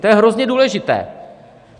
To je hrozně důležité.